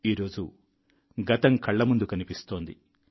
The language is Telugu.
ఈరోజు గతం కళ్ల ముందు కనిపిస్తోంది